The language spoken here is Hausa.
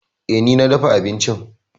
E, ni na dafa abincin.